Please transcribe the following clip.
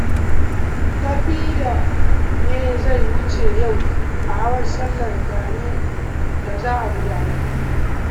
Tafida ne zai wuce yau a hawan sallar gani da za a gudanar